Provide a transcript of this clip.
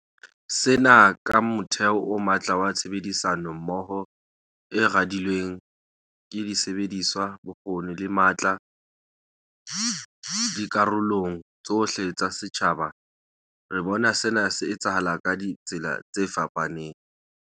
Sena ke motheo o matla wa tshebedisano mmoho e radilweng ka disebediswa, bokgoni le matla dikarolong tsohle tsa setjhaba. Re bona sena se etsahala ka ditsela tse fapafapaneng.